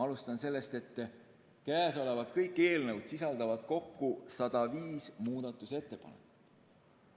Alustan sellest, et kõik eelnõud kokku sisaldavad 105 muudatusettepanekut.